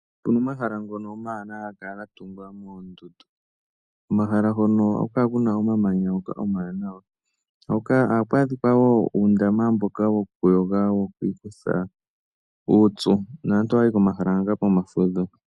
Opu na omahala ngono omawanawa haga kala ga tungwa moondundu. Komahala hono ohaku kala ku na omamanya omawanawa. Ohaku adhika wo uundama mboka wokuyoga wo ku ikutha uupyu naantu ohaya yi komahala hoka pomafudho.